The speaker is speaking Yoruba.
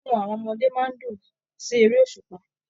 Inú àwọn ọmọdé máa n dùn sí èrè òṣùpá.